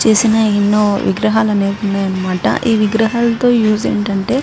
చేసిన ఎన్నో వుగరహాలు ఉన్నాయి అనమాట ఈ విగ్రహాల తో యూస్ ఏంటంటే --